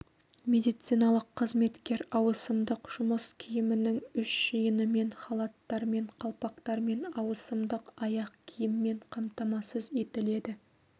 медициналық қызметкер ауысымдық жұмыс киімінің үш жиынымен халаттармен қалпақтармен ауысымдық аяқ киіммен қамтамасыз етіледі